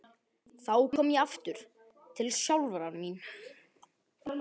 Þá kom ég aftur til sjálfrar mín.